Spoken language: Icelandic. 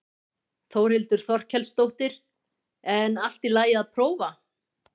Þórhildur Þorkelsdóttir: En allt í lagi að prófa?